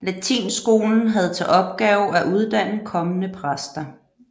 Latinskolen havde til opgave at uddanne kommende præster